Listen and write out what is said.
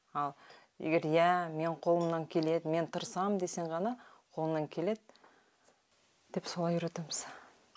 ал егер иә менің қолымнан келеді мен тырысамын десең ғана қолыңнан келеді деп солай үйретеміз